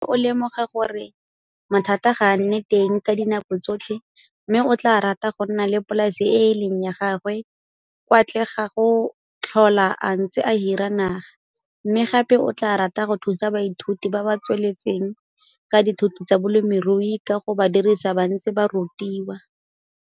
O lemoga gore mathata ga a nne teng ka dinako tsotlhe mme o tlaa rata go nna le polase e e leng ya gagwe kwa tle ga go tlhola a ntse a hira naga, mme gape o tlaa rata go thusa baithuti ba ba tsweletseng ka dithuto tsa bolemirui ka go ba dirisa ba ntse ba rutiwa.